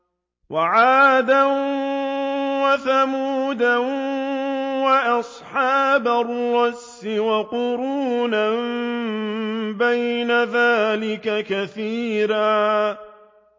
وَعَادًا وَثَمُودَ وَأَصْحَابَ الرَّسِّ وَقُرُونًا بَيْنَ ذَٰلِكَ كَثِيرًا